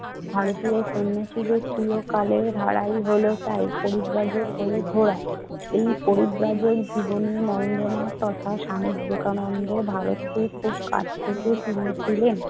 ভারতীয় সন্ন্যাসীদের চিরকালের ধারাই হলো তাই পরিব্রাজক হয়ে ঘুরা। এই পরিব্রাজক জীবনে নরেন্দ্রনাথ তথা স্বামী বিবেকানন্দ ভারতকে খুব কাছ থেকে চিনেছিলেন।